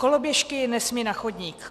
Koloběžky nesmí na chodník.